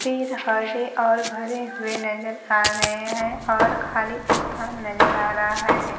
पेड़ हरे और भरे हुए नजर आ रहे हैं और खाली स्थान नजर आ रहा है।